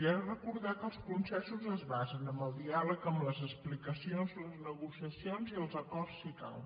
i ha de recordar que els consensos es basen en el diàleg en les explicacions les negociacions i els acords si cal